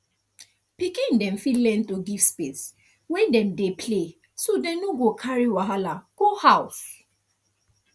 pikin dem fit learn to give space when dem dey play so dem no carry wahala go house